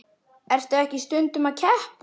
Ertu ekki stundum að keppa?